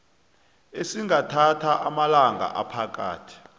esingathatha amalanga aphakathi